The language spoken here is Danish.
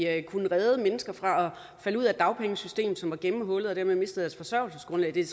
at vi kunne redde mennesker fra at falde ud af dagpengesystemet som var gennemhullet og dermed miste deres forsørgelsesgrundlag det er